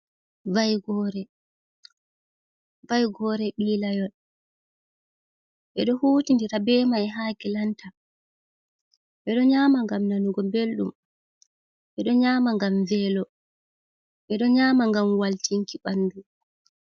Vaigore bilayol e do huti ndira be mai ha klanta ,bedo nyama gam nanugo beldum bedo nyama gam velugo bedo nyama gam waltinki bandu.